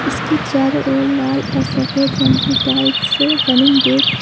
उसके चारों ओर लाल और सफेद रंग की टाइल्स से